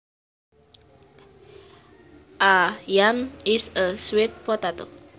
A yam is a sweet potato